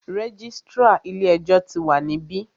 Registrar ilé ẹjọ́ tí wa níbí.